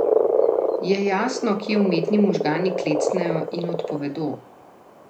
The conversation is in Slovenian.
Je jasno, kje umetni možgani klecnejo in odpovedo?